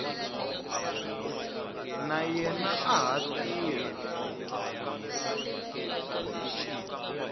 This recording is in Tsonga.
na yena a ha tirha